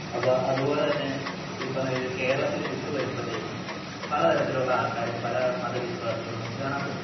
അപ്പോ അത്പോലെ തന്നെ ഈ പറയുന്ന കേരളത്തില് വിട്ടു വരുമ്പോഴത്തേക്കും പലതരത്തിലുള്ള ആൾക്കാരും പല വിശ്വാസികളും നമുക്ക് കാണാൻ പറ്റും